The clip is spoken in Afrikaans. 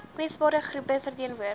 kwesbare groepe verteenwoordig